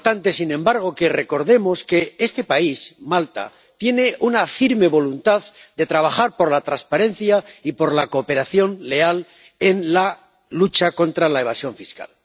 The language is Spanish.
Es importante, sin embargo, que recordemos que este país, Malta, tiene la firme voluntad de trabajar por la transparencia y por la cooperación leal en la lucha contra la evasión fiscal.